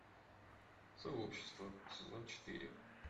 сообщество сезон четыре